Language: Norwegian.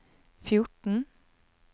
fjorten